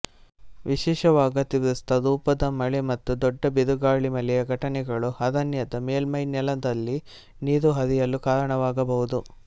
ವಿಶೇಷವಾಗಿತೀವ್ರಸ್ವರೂಪದ ಮಳೆ ಮತ್ತು ದೊಡ್ಡ ಬಿರುಗಾಳಿಮಳೆಯ ಘಟನೆಗಳು ಅರಣ್ಯದ ಮೇಲ್ಮೈನೆಲದಲ್ಲಿ ನೀರು ಹರಿಯಲು ಕಾರಣವಾಗಬಹುದು